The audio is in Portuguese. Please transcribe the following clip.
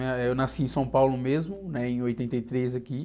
Eh, eu nasci em São Paulo mesmo, né? Em oitenta e três, aqui.